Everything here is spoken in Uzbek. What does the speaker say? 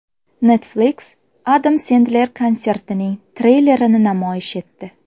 Netflix Adam Sendler konsertining treylerini namoyish etdi.